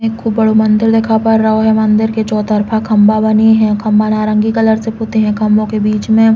एक खूब बड़ो मंदिर दिखा पा रओ है। मंदिर के चो तरफा खम्बा बनी है। खम्बा नारंगी कलर से पुते है। खम्बो के बीच में --